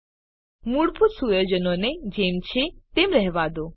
તમામ મૂળભૂત સુયોજનોને જેમ છે તેમ રહેવા દો